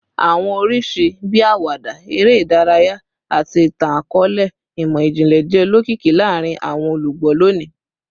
Awọn oriṣi bii awada, ere idaraya, ati itan-akọọlẹ imọ-jinlẹ jẹ olokiki laarin awọn olugbo loni